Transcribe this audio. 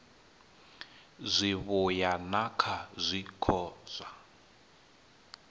zwivhuya na kha zwiko zwa